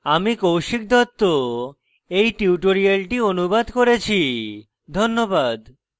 আমি কৌশিক দত্ত এই টিউটোরিয়ালটি অনুবাদ করেছি ধন্যবাদ